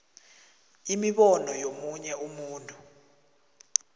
imibono yomunye umuntu